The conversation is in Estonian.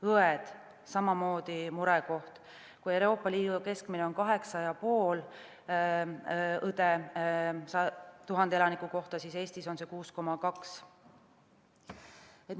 Õed on samamoodi murekoht: kui Euroopa Liidu keskmine on 8,5 õde 1000 elaniku kohta, siis Eestis on 6,2 õde.